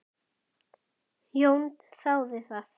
Jón þáði það.